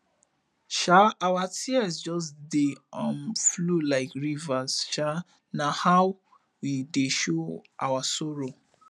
um our tears just dey um flow like river um na how we dey show our sorrow